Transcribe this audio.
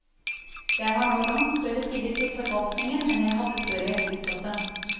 Jeg har nå langt større tillit til forvaltningen enn jeg hadde før jeg tiltrådte.